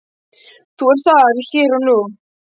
Þú ert þar hér og nú.